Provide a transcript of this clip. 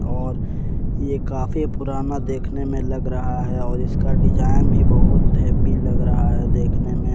और ये काफी पुराना देखने में लग रहा है और इसका डिजाइन भी बहुत हैबी लग रहा है देखने में।